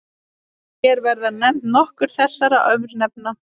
Hér verða nefnd nokkur þessara örnefna.